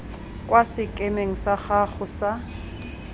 kwa sekemeng sa gago sa